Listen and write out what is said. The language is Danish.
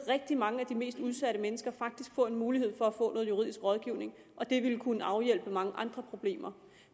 rigtig mange af de mest udsatte mennesker faktisk få en mulighed for at få noget juridisk rådgivning og det vil kunne afhjælpe mange andre problemer